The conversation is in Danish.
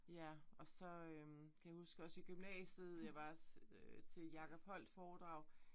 Ja og så øh kan jeg huske også i gymnasiet jeg var øh og se Jacob Holdt foredrag